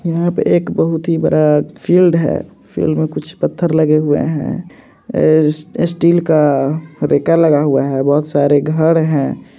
यहां पर एक बहुत ही बड़ा फील्ड है। फील्ड में कुछ पत्थर लगे हुए हैं। स्टील का रेकर लगा है। बहुत सारे घर हैं।